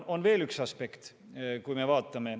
Ja on veel üks aspekt.